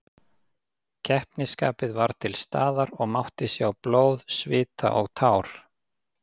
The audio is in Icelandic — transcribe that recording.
Keppnisskapið var til staðar og mátti sjá blóð, svita og tár.